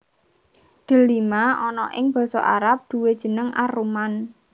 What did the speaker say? Delima ana ing basa Arab duwè jeneng ar rumman